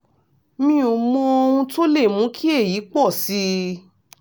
mi ò mọ ohun tó lè mú kí èyí pọ̀ sí i